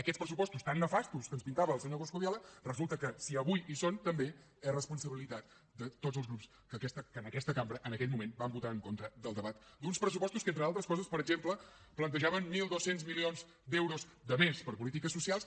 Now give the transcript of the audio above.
aquests pressupostos tan nefastos que ens pintava el senyor coscubiela resulta que si avui hi són també és responsabilitat de tots els grups que en aquesta cambra en aquell moment van votar en contra del debat d’uns pressupostos que entre altres coses per exemple plantejaven mil dos cents milions d’euros de més per a polítiques socials